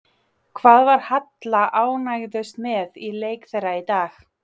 Hvað var Halla ánægðust með í leik þeirra í dag?